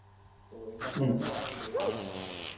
তো এটা করাটাই আমার better মনে হয়.